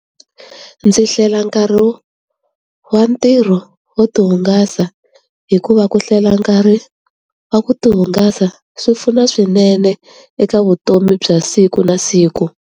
Ndzi hlela nkarhi wa ntirho wo tihungasa hikuva ku hlwela nkarhi wa ku tihungasa swi pfuna swinene eka vutomi bya siku na siku.